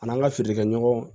An'an ka feere kɛ ɲɔgɔn